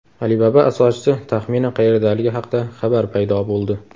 Alibaba asoschisi taxminan qayerdaligi haqida xabar paydo bo‘ldi.